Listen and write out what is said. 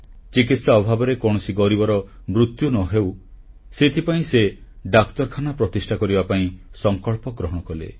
ଚିକିତ୍ସା ଅଭାବରେ କୌଣସି ଗରିବର ମୃତ୍ୟୁ ନ ହେଉ ସେଥିପାଇଁ ସେ ଡାକ୍ତରଖାନା ପ୍ରତିଷ୍ଠା କରିବା ପାଇଁ ସଂକଳ୍ପ ଗ୍ରହଣ କଲେ